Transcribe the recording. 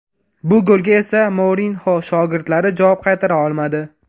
Bu golga esa Mourinyo shogirdlari javob qaytara olmadi.